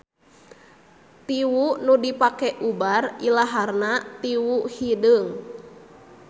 Tiwu nu dipake ubar ilaharna tiwu hideung.